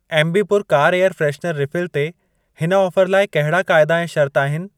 Ambi Pur car air freshener refill ते हिन offer लाइ कहिड़ा क़ाइदा ऐं शर्त आहिनि?